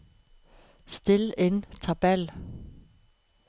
Sett inn tabell